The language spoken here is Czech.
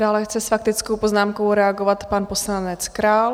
Dále chce s faktickou poznámkou reagovat pan poslanec Král.